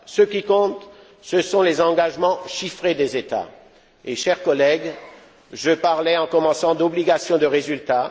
Ce qui compte, ce sont les engagements chiffrés des États. Chers collègues, je parlais en commençant, d'obligation de résultat.